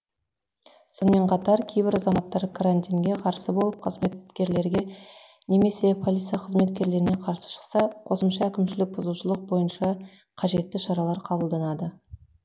сонымен қатар кейбір азаматтар карантинге қарсы болып қызметкерлерге немесе полиция қызметкерлеріне қарсы шықса қосымша әкімшілік бұзушылық бойынша қажетті шаралар қабылданады